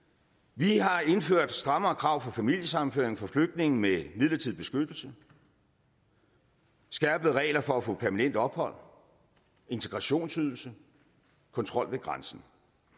vi har indført strammere krav for familiesammenføring for flygtninge med midlertidig beskyttelse skærpede regler for at få permanent ophold integrationsydelse kontrol ved grænsen